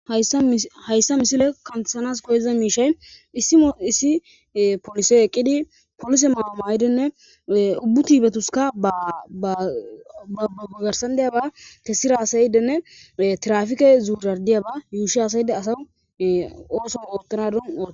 hayssa misile kanthanas koyeza miishay issio issi polisey eqqidi polise maama yidenne ubbu tiibetuska babbugugarsandiyaba tessira asayidenne trafike zuujardiyaba yuushi asayide asa ooso oottanadon ode